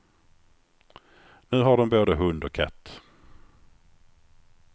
Nu har de både hund och katt.